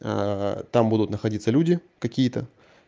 а там будут находиться люди какие-то